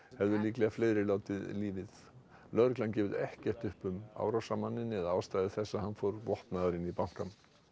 hefðu líklega fleiri látið lífið lögregla hefur ekkert gefið upp um árásarmanninn eða ástæður þess að hann fór vopnaður inn í bankann